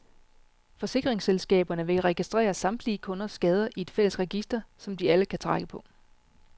Forsikringsselskaberne vil registrere samtlige kunders skader i et fælles register, som de alle kan trække på.